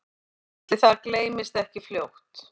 Ætli það gleymist ekki fljótt